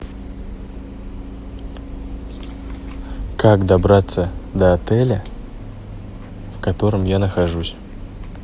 как добраться до отеля в котором я нахожусь